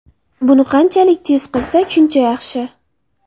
Buni qanchalik tez qilsak shuncha yaxshi.